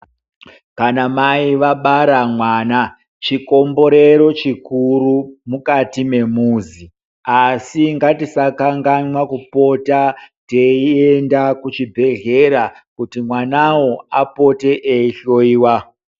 Kana mai vabara mwana chikomborero chikuru mukati memuzi asi ngatisakanganwa kupota teienda kuchibhedhleya kuti mwanao apote eihloyiwa.